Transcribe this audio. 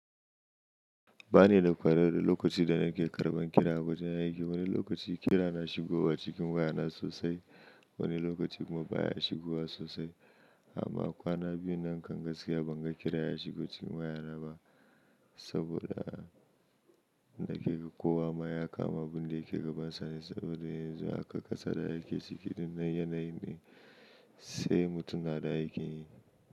Ba ni da kwado lokaci da nake karɓan kira a wajen aiki. Wani lokaci kira na shigo wa cikin waya na sosai, wani lokaci kuma baya shigowa sosai. Amma kwana biyu nan kan gaskiya ban ga kira ya shigo cikin waya na ba saboda ina ke ka kowa maya kama abin da ke gabasa ne saboda yanzu aka gasa da aiki cikin nan yana yi ne sai mutum na da aiki.